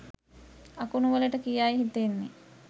අකුණු වලට කියායි හිතෙන්නේ.